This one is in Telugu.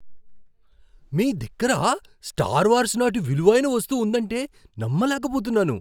మీ దగ్గర స్టార్ వార్స్ నాటి విలువైన వస్తువు ఉందంటే నమ్మలేకపోతున్నాను.